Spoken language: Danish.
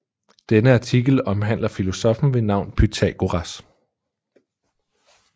Denne artikel omhandler filosoffen ved navn Pythagoras